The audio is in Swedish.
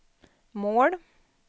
mål